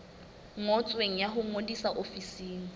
ngotsweng ya ho ngodisa ofising